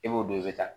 E b'o dɔn i bɛ taa